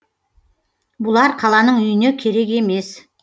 бұлар қаланың үйіне керек емес